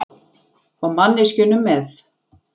Og manneskjunum með.